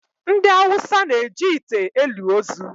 Ndị Awụsa na-eji ite elu ozu.